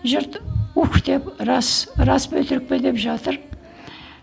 жұрт ух деп рас рас па өтірік пе деп жатыр